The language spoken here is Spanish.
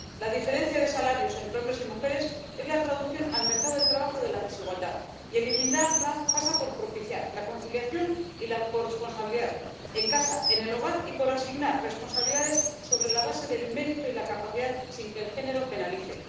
La diferencia de salarios entre hombres y mujeres es la traducción, en el mercado del trabajo, de la desigualdad, y eliminarla pasa por propiciar la conciliación y la corresponsabilidad —en casa, en el hogar— y por asignar responsabilidades sobre la base del mérito y la capacidad sin que el género penalice.